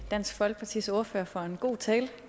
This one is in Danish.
dansk folkepartis ordfører for en god tale